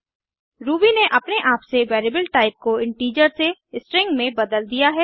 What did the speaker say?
Ruby ने अपने आप से वेरिएबल टाइप को इन्टिजर से स्ट्रिंग में बदल दिया है